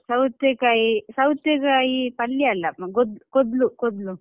ಸೌತೆಕಾಯಿ ಸೌತೆಕಾಯಿ ಪಲ್ಯ ಅಲ್ಲ ಅಹ್ ಕೋದ್ಲು ಕೋದ್ಲು.